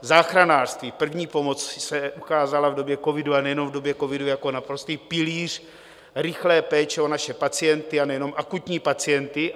Záchranářství, první pomoc, se ukázaly v době covidu, a nejenom v době covidu, jako naprostý pilíř rychlé péče o naše pacienty, a nejenom akutní pacienty.